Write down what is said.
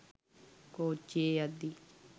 කෝච්චියෙ යද්දි